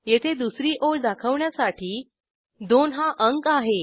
येथे दुसरी ओळ दाखवण्यासाठी 2 हा अंक आहे